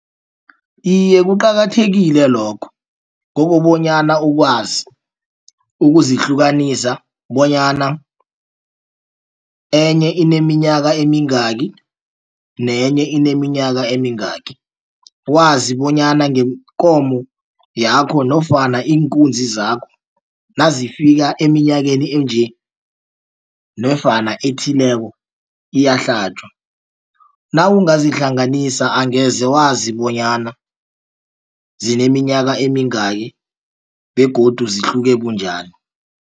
Iye, kuqakathekile lokho kokobonyana ukwazi ukuzihlukanisa bonyana enye ineminyaka emingaki nenye ineminyaka emingaki. Wazi bonyana ngeenkomo yakho nofana iinkunzi zakho nazifika eminyakeni enje nofana ethileko iyahlatjwa nawungazihlanganisa angeze wazi bonyana zineminyaka emingaki begodu zihluke bunjani.